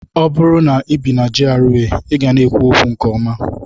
Ọ bụrụ na ibi na GRA, ị ga na-ekwu okwu nke ọma.